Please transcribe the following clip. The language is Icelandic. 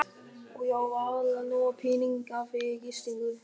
Og ég á varla nóga peninga fyrir gistingu.